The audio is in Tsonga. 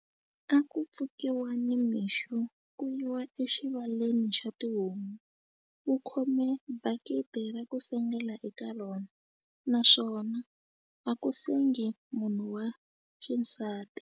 A ku pfukiwa nimixo ku yiwa exivaleni xa tihomu wu khome bakiti ra ku sengela eka rona naswona a ku sengi munhu wa xisati.